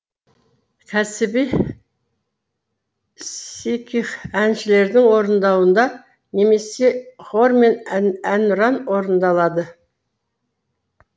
кәсіби сикх әншілердің орындауында немесе хормен әнұран орындалады